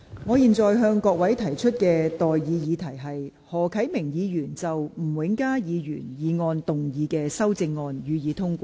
我現在向各位提出的待議議題是：何啟明議員就吳永嘉議員議案動議的修正案，予以通過。